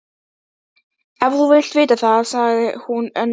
Ef þú vilt vita það, sagði hún önuglega